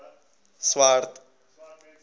swart